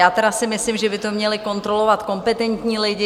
Já tedy si myslím, že by to měli kontrolovat kompetentní lidé;